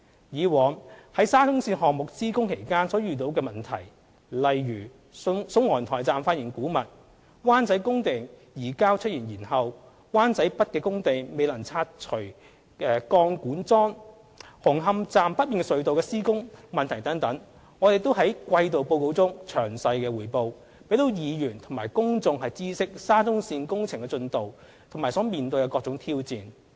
以往在沙中線項目施工期間所遇上的問題，例如宋皇臺站發現古物、灣仔工地移交出現延後、灣仔北工地未能拆除鋼管樁、紅磡站北面隧道的施工問題等，我們亦在季度報告中詳細匯報，讓議員和公眾知悉沙中線工程的進度和所面對的各種挑戰。